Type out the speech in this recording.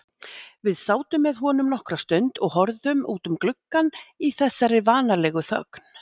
Við sátum með honum nokkra stund og horfðum út um gluggann í þessari vanalegu þögn.